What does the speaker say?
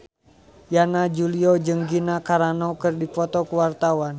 Yana Julio jeung Gina Carano keur dipoto ku wartawan